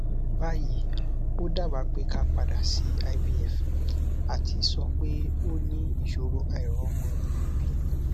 bayi o daba pe ka padà sí ivf àti sọ pé ó ní ìṣòro àìromọ bibi